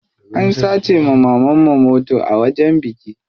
An sace wa mamanmu mota a wajen biki.